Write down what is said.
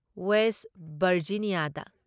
west ꯚꯔꯖꯤꯅꯤꯌꯥꯗ